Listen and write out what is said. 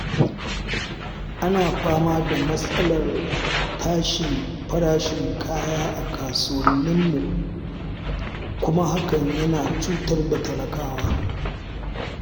Ana fama da matsalar tashin farashin kaya a kasuwanninmu, kuma hakan yana cutar da talakawa.